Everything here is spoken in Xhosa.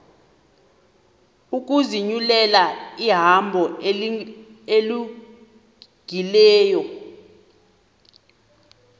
ukuzinyulela ihambo elungileyo